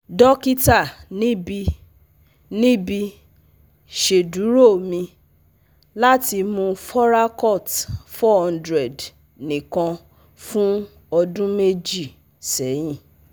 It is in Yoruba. Dokita nibi nibi ṣeduro mi lati mu Foracort four hundred nikan fun ọdun meji sẹyin